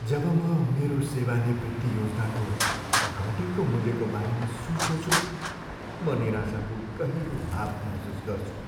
जब म मेरो सेवानिवृत्ति योजनाको घटेको मूल्यको बारेमा सोच्दछु म निराशाको गहिरो भाव महसुस गर्छु।